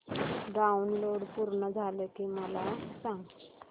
download पूर्ण झालं की मला सांग